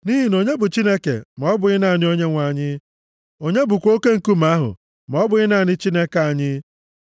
Nʼihi na onye bụ Chineke, ma ọ bụghị naanị Onyenwe anyị? Onye bụkwa oke Nkume ahụ, ma ọ bụghị naanị Chineke anyị?